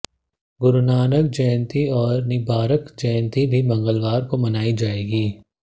गुरुनानक जयंती और निंबार्क जयंती भी मंगलवार को मनाई जाएगी